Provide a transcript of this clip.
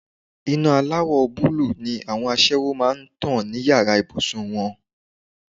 Iná aláwọ̀ búlúù ni àwọn aṣẹ́wó máa ń lò ní yàrá ìbùsùn wọn.